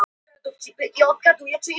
Karate heillaði mig meira.